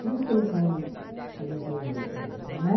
Por isso que eles vêm, eles vêm muito mesmo, né?